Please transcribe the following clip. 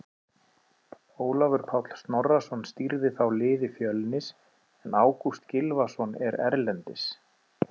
Ólafur Páll Snorrason stýrði þá liði Fjölnis en Ágúst Gylfason er erlendis.